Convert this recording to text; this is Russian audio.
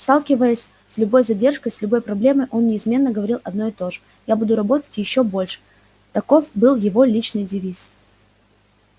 сталкиваясь с любой задержкой с любой проблемой он неизменно говорил одно и то же я буду работать ещё больше таков был его личный девиз